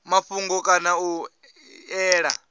mafhungo kana nga u ṅea